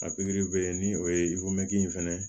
A pikiri bɛ ni o ye in fɛnɛ ye